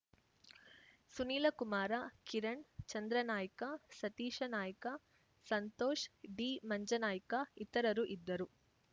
ಸುನಿಲ ಕುಮಾರ ಕಿರಣ್‌ ಚಂದ್ರನಾಯ್ಕ ಸತೀಶ ನಾಯ್ಕ ಸಂತೋಷ್‌ ಡಿಮಂಜನಾಯ್ಕ ಇತರರು ಇದ್ದರು